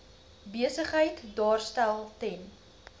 besigheid daarstel ten